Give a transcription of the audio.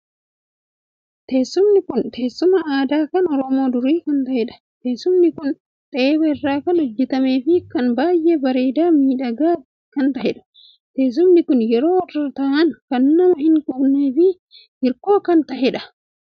Teessumni kun teessuma aadaa kan Oromoo durii kan ta'eedha. teessumni kun xeeba irraa kan hojjetame fi kan baay'ee bareedaa miidhagaa kan taheedha. teessumni kun yeroo irra taa'an kan nama hin quqnee fi hirkoo kan taheedha.